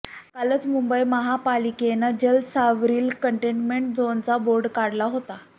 कालच मुंबई महापालिकेनं जलसावरील कंटेनमेंट झोनचा बोर्ड काढला होता